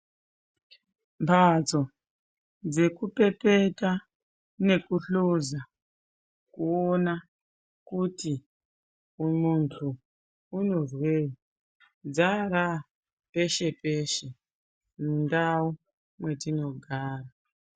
Mbatso dzekupepeta nekuhluza kuona kuti uyu munthu unozwei dzara peshe peshe mundau mwetinogara.